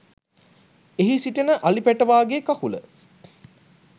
එහි සිටින අලි පැටවාගේ කකුල